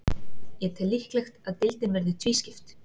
Ég tel líklegt að deildin verði tvískipt.